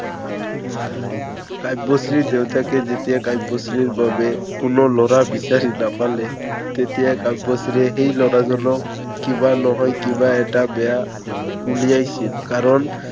কাব্যশ্ৰীৰ দেউতাকে যেতিয়া কাব্যশ্ৰীৰ কোনো লৰা বিচাৰি নাপালে, তেতিয়া কাব্যশ্ৰীয়ে সেই লৰাজনক কিবা নহয়, কিবা এটা বেয়া উলিয়াইছিল।